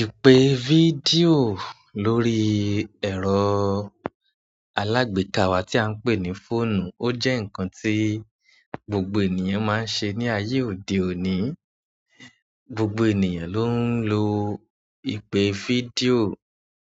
Ìpè fídíò lórí ẹ̀rọ alágbèéká wa tí à ń pè ní fóònù, ó jẹ́ nǹkan tí gbogbo ènìyàn máa ń ṣe ní ayé òde òní. Gbogbo ènìyàn ló ń lo ìpè fídíò